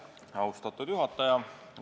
Austatud juhataja!